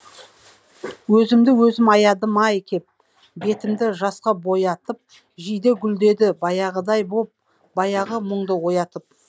өзімді өзім аядым ай кеп бетімді жасқа боятып жиде гүлдеді баяғыдай боп баяғы мұңды оятып